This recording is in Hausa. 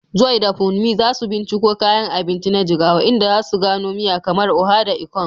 Joy da Funmi za su binciko kayan abinci na Jigawa, inda za su gano miya kamar Oha da Ikong.